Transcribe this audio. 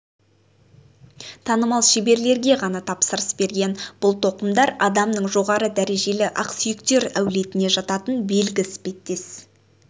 танымал шеберлерге ғана тапсырыс берген бұл тоқымдар адамның жоғары дәрежелі ақсүйектер әулетіне жататын белгі іспеттес